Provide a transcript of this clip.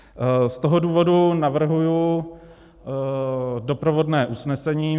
Z toho důvodu navrhuji doprovodné usnesení.